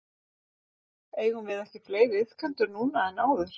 Eigum við ekki fleiri iðkendur núna en áður?